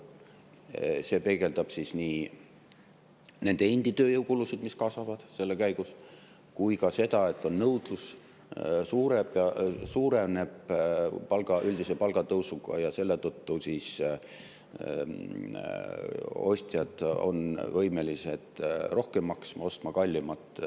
peegeldab nii nende endi tööjõukulusid, mis kasvavad käigus, kui ka seda, et nõudlus suureneb üldise palgatõusuga, mille tõttu ostjad on võimelised rohkem maksma, ostma kallimat toitu.